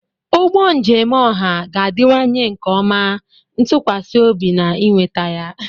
Ụgbọ njem ọha ga-adịwanye nke ọma, ntụkwasị obi, na ịnweta ya.